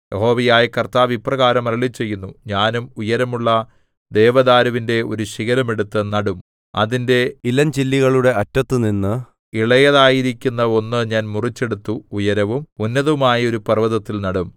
യഹോവയായ കർത്താവ് ഇപ്രകാരം അരുളിച്ചെയ്യുന്നു ഞാനും ഉയരമുള്ള ദേവദാരുവിന്റെ ഒരു ശിഖരം എടുത്ത് നടും അതിന്റെ ഇളഞ്ചില്ലികളുടെ അറ്റത്തുനിന്ന് ഇളയതായിരിക്കുന്ന ഒന്ന് ഞാൻ മുറിച്ചെടുത്തു ഉയരവും ഉന്നതവുമായ ഒരു പർവ്വതത്തിൽ നടും